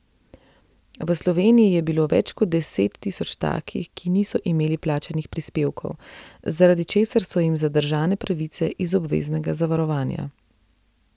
V Sloveniji je bilo več kot deset tisoč takih, ki niso imeli plačanih prispevkov, zaradi česar so jim zadržane pravice iz obveznega zavarovanja.